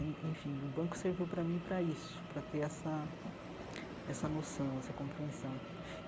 En enfim, o banco serviu para mim para isso, para ter essa essa noção, essa compreensão.